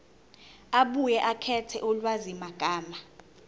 abuye akhethe ulwazimagama